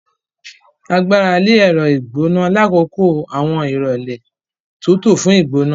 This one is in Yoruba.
A gbarale ẹrọ igbona lakoko awọn irọlẹ tútù fún igbona.